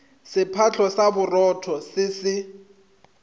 sephatlo sa borotho se se